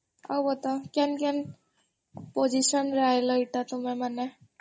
ଆଉ ବତାଅ କେନ୍ କେନ୍ position ରେ ତମେମାନେ